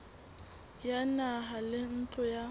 ya naha le ntlo ya